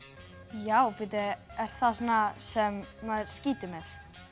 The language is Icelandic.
já bíddu er það svona sem maður skýtur með